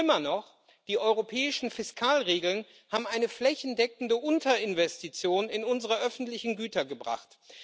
Schlimmer noch Die europäischen Fiskalregeln haben eine flächendeckende Unterinvestition in unsere öffentlichen Güter gebracht.